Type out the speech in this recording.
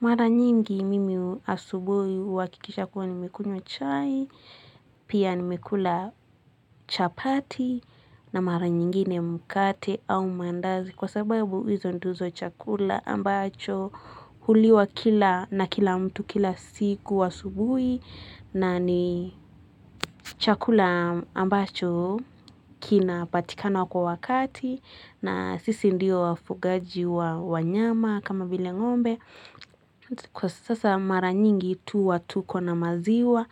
Mara nyingi mimi asubuhi huhakikisha kuwa nimekunywa chai, pia nimekula chapati na mara nyingine mkate au mandazi kwa sababu hizo ndizo chakula ambacho huliwa kila na kila mtu kila siku asubuhi na ni chakula ambacho kinapatikana kwa wakati na sisi ndiyo wafugaji wa wanyama kama vile ng'ombe kwa sasa mara nyingi tuwa tuko na maziwa,